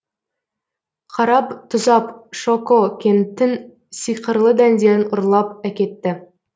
қараб тұзаб шоко кенттің сиқырлы дәндерін ұрлап әкетті